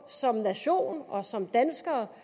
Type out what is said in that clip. som nation og som danskere